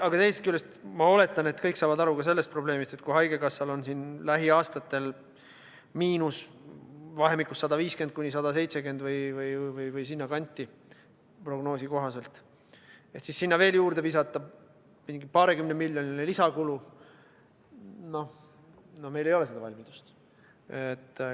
Aga teisest küljest ma oletan, et kõik saavad aru ka sellest probleemist, et kui haigekassal on lähiaastatel prognoosi kohaselt miinus vahemikus 150–170 miljonit või sinnakanti, siis sinna veel juurde visata mingi paarikümnemiljoniline lisakulu – no meil ei ole seda valmidust.